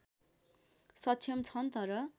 सक्षम छन् तर